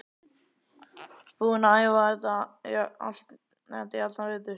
Búinn að æfa þetta í allan vetur.